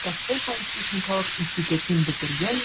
ташкент политехникалық институтын бітірген